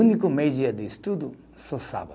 Único meio-dia de estudo, só sábado.